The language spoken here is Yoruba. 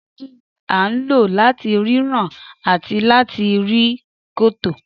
Dígí ní a ń lò láti ríran àti láti rí kòtò.